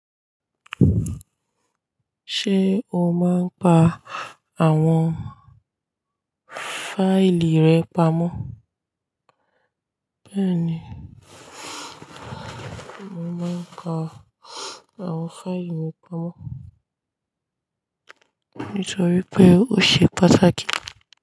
Ṣé o máa ń pa àwọn fáìlì rẹ pamọ́? Bẹ́ẹ̀ni, mo máa ń ka àwọn fáìlì mi pamọ́ nítorí pé ó ṣe pàtàkì.